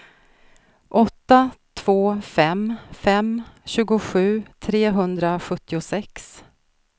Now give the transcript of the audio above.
åtta två fem fem tjugosju trehundrasjuttiosex